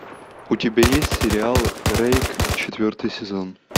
у тебя есть сериал рейк четвертый сезон